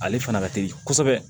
Ale fana ka teli kosɛbɛ